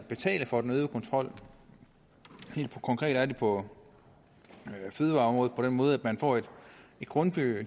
at betale for den øgede kontrol helt konkret er det på fødevareområdet på den måde at man får et grundgebyr